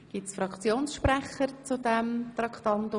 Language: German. Gibt es hierzu Fraktionsmeldungen?